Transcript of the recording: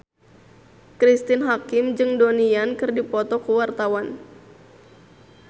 Cristine Hakim jeung Donnie Yan keur dipoto ku wartawan